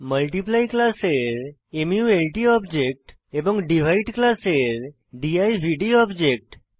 multiply ক্লাসের মাল্ট object এবং ডিভাইড ক্লাসের দিবদ অবজেক্ট